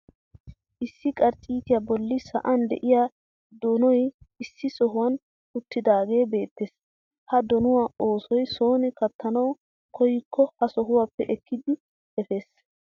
Issi karcciitaa bolli sa'an de'iyaa donoy issi sohuwaan uttidaagee beettees. ha donuwaa asay soni kaattanwu koyikko ha sohuwaappe ekkidi efees.